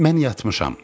Mən yatmışam.